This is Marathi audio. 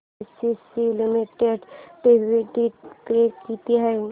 एसीसी लिमिटेड डिविडंड पे किती आहे